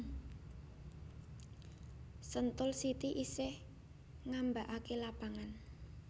Sentul City isih ngambaake lapangan